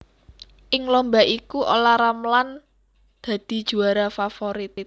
Ing lomba iku Ola Ramlan dadi juwara favorit